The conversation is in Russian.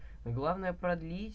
главное продлить